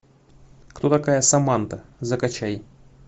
кто такая саманта закачай